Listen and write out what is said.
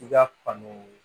I ka fani